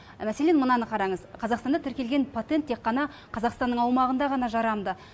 мәселен мынаны қараңыз қазақстанда тіркелген патент тек қана қазақстанның аумағында ғана жарамды